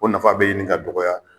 O nafa bɛ ɲini ka dɔgɔya